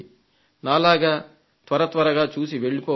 నాలాగా త్వరత్వరగా చూసి వెళ్లిపోవద్దు